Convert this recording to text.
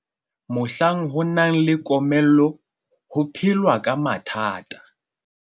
mohlang ho nang le komello ho phelwa ka mathata